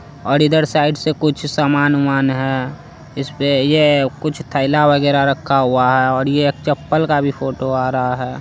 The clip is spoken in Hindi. और इधर साइड से कुछ समान-उमान है इसपे ये कुछ थेला वगैरा रखा हुआ है और ये चप्पल का भी फोटो आ रहा है ।